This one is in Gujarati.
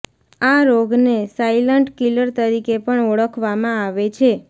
આ રોગને સાઇલન્ટ કીલર તરીકે પણ ઓળખવામાં આવે છે